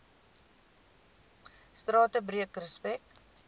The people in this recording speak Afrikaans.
strate breek respek